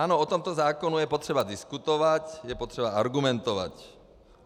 Ano, o tomto zákonu je potřeba diskutovat, je potřeba argumentovat.